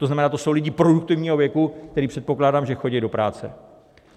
To znamená, to jsou lidé produktivního věku, kteří, předpokládám, že chodí do práce.